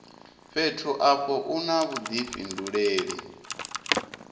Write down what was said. fhethu afho u na vhudifhinduleli